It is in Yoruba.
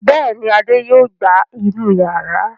Bẹ́ẹ̀ ni, Adé yóò gbá inú ìyàrá.